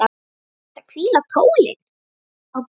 Ertu að hvíla tólin?